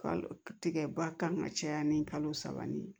Kalo tigɛ ba kan ka caya ni kalo saba ni ye